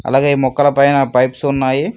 అలాగే ఈ మొక్కల పైన పైప్స్ ఉన్నాయి.